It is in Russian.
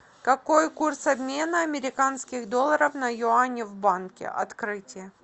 какой курс обмена американских долларов на юани в банке открытие